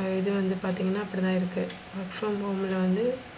ஆஹ் இது வந்து பாத்திங்கனா அப்டிதான் இருக்கு. work from home ல வந்து,